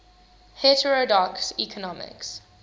heterodox economics